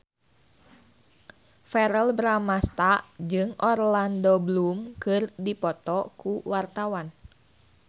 Verrell Bramastra jeung Orlando Bloom keur dipoto ku wartawan